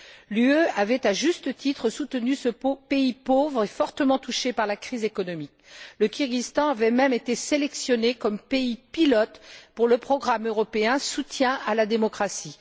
L'Union européenne avait, à juste titre, soutenu ce pays pauvre et fortement touché par la crise économique. Le Kirghizstan avait même été sélectionné comme pays pilote pour le programme européen Soutien à la démocratie.